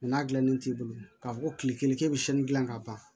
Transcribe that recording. n'a dilannen t'i bolo k'a fɔ ko tile kelen k'e bɛ siyɛnni dilan ka ban